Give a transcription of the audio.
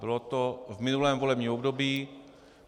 Bylo to v minulém volebním období.